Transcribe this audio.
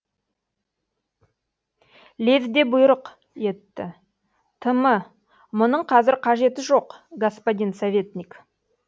лезде бұйрық етті тм мұның қазір қажеті жоқ господин советник